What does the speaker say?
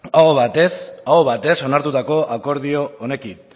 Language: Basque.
aho batez onartutako akordio honekin